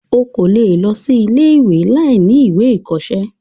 o kò lè lọ sí ilé-ìwé láìní ìwé ìkọsẹ́.